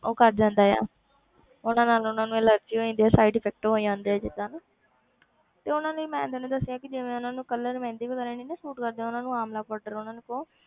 ਉਹ ਕਰ ਜਾਂਦਾ ਆ ਉਹਨਾਂ ਨਾਲ ਉਹਨਾਂ ਨੂੰ allergy ਹੋ ਜਾਂਦੀ ਹੈ side effect ਹੋ ਜਾਂਦੇ ਆ ਜਿੱਦਾਂ ਨਾ ਤੇ ਉਹਨਾਂ ਲਈ ਮੈਂ ਤੈਨੂੰ ਦੱਸਦੀ ਹਾਂ ਕਿ ਜਿਵੇਂ ਉਹਨਾਂ ਨੂੰ colour ਮਹਿੰਦੀ ਵਗ਼ੈਰਾ ਨੀ ਨਾ suit ਕਰਦੀ ਉਹਨਾਂ ਨੂੰ ਆਮਲਾ powder ਉਹਨਾਂ ਨੂੰ ਕਹੋ,